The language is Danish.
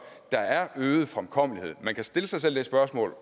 der er øget fremkommelighed man kan stille sig selv det spørgsmål